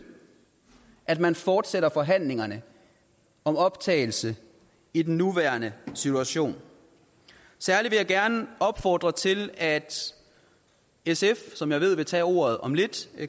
at man fortsætter forhandlingerne om optagelse i den nuværende situation særlig vil jeg gerne opfordre til at sf som jeg ved vil tage ordet om lidt